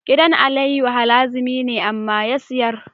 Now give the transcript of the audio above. Gidan aliyu harazimi ne amma ya siyar